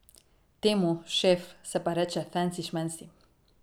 Temu, šef, se pa reče fensi šmensi.